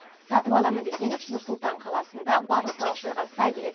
сатып аламын десеңіз нұр сұлтан қаласында барлық талаптарға сай келетін